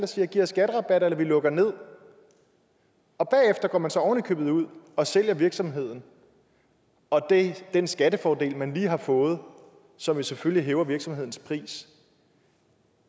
siger giv os skatterabatter eller vi lukker nederst og bagefter går man så oven i købet ud og sælger virksomheden og den skattefordel man lige har fået som jo selvfølgelig hæver virksomhedens pris